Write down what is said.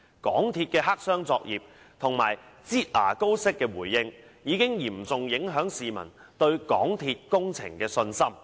港鐵公司的黑箱作業及"擠牙膏式"的回應，已嚴重影響市民對港鐵工程的信心。